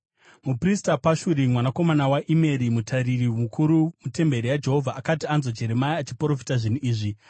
Muprista Pashuri mwanakomana waImeri, mutariri mukuru mutemberi yaJehovha, akati anzwa Jeremia achiprofita zvinhu izvi,